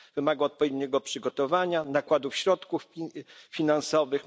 Wymaga odpowiedniego przygotowania, nakładów środków finansowych.